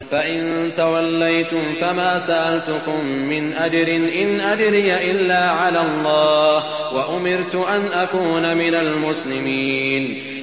فَإِن تَوَلَّيْتُمْ فَمَا سَأَلْتُكُم مِّنْ أَجْرٍ ۖ إِنْ أَجْرِيَ إِلَّا عَلَى اللَّهِ ۖ وَأُمِرْتُ أَنْ أَكُونَ مِنَ الْمُسْلِمِينَ